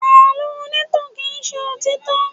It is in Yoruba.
Àlọ́ onítàn kì í ṣe òtítọ́.